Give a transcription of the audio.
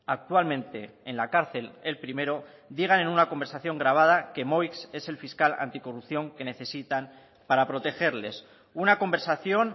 actualmente en la cárcel el primero digan en una conversación grabada que moix es el fiscal anticorrupción que necesitan para protegerles una conversación